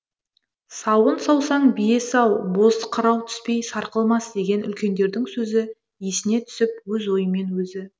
сауын саусаң бие сау боз қырау түспей сарқылмас деген үлкендердің сөзі есіне түсіп өз ойымен өзі